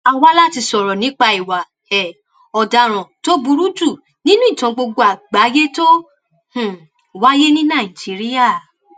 a wá láti sọrọ nípa ìwà um ọdaràn tó burú jù nínú ìtàn gbogbo àgbáyé tó um wáyé ní nàìjíríà